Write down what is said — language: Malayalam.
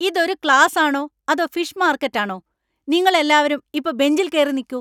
ഇത് ഒരു ക്ലാസാണോ അതോ ഫിഷ് മാർക്കറ്റാണോ? നിങ്ങളെല്ലാരും ഇപ്പോ ബെഞ്ചിൽ കേറി നിൽക്കൂ!